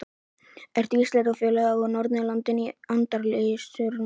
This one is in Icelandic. Eru Íslendingafélögin á Norðurlöndunum í andarslitrunum?